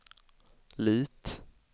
Lit